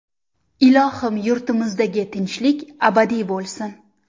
Ilohim, yurtimizdagi tinchlik abadiy bo‘lsin.